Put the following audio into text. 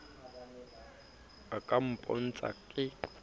a ka a mpotsa ke